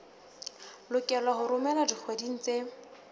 lokelwa ho romelwa dikgweding tse